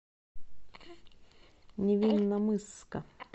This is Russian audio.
невинномысска